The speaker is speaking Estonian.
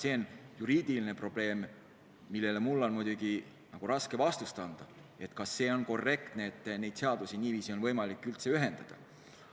See on juriidiline probleem ja mul on raske vastust anda, kas see on korrektne, et neid seadusi niiviisi üldse ühendatakse.